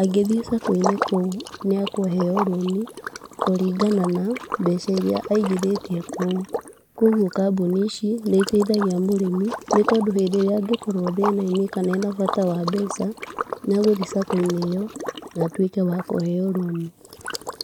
angĩthiĩ Sacco-inĩ nĩ akũheo rũni, kũringana na mbeca iria aigithĩtie kũu, kũgwo kambũni ici nĩ iteithagia mũrĩmi, nĩ tondũ rĩrĩ angĩkorwo thĩna -inĩ kana rĩrĩa angĩkorwo kana ena bata wa mbeca, nĩ agũthiĩ Sacco-inĩ ĩyo, na atwĩke wakũheo rũni.